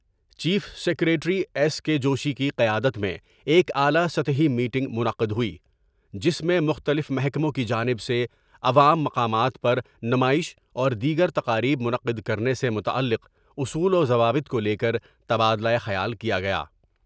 Chief secretary S K Joshi کی قیادت میں ایک اعلی سطحی میٹنگ منعقد ہوئی جس میں مختلف محکموں کی جانب سے عوام مقامات پر نمائش اور دیگر تکاریب منعقد کرنے سے متعلق سے اصول وضوابط کو لے کر تبادلہ خیال کیا گیا ۔